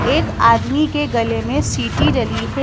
एक आदमी के गले में सीटी डली है।